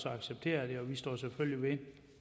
accepteret det og vi står selvfølgelig ved